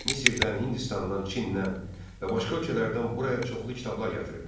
Misirdən, Hindistandan, Çindən və başqa ölkələrdən buraya çoxlu kitablar gətirilmişdi.